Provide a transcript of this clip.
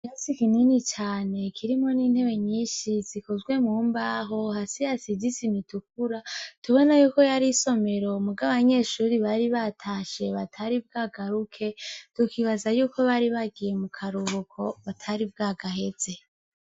Ikirasi kinini cane kirimwo n'intebe nyinshi zikozwe mu mbaho, hasi hasize isima itukura, uhita ubona yuko yari isomero muga abanyeshuri bari batashe batari bwagaruke tukibaza yuko bari bagiye mu karuhuko batari bwagaheze.